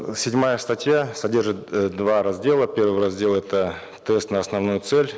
седьмая статья содержит э два раздела первый раздел это тест на основную цель